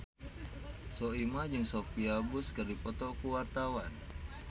Soimah jeung Sophia Bush keur dipoto ku wartawan